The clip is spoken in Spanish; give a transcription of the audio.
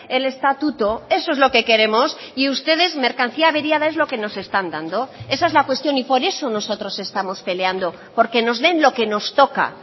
el estatuto eso es lo que queremos y ustedes mercancía averiada es lo que nos están dando esa es la cuestión y por eso nosotros estamos peleando porque nos den lo que nos toca